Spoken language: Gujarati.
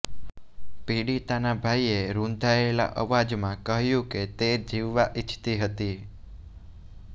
પીડિતાના ભાઈએ રુંધાયેલા અવાજમાં કહ્યું કે તે જીવવા ઈચ્છતી હતી